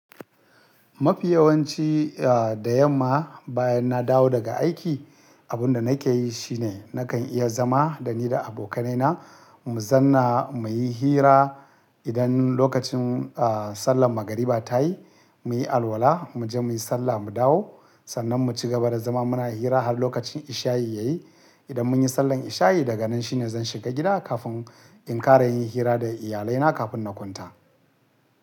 Mafi yawanci, a da yamma bayan na dawo daga aiki, abin da nake yi shine nakan iya zama da ni da abokanaina mu zanna muyi hira. Idan lokacin a sallan magariba ta yi, muyi alwala, muje muyi sallah mu dawo. Sannan mu cigaba da zama muna hira har lokacin isha'i ya yi. Idan mun yi sallan isha'i daga nan shine zan shiga gida kafin in kara yin hira da iyalaina kafin na kwanta.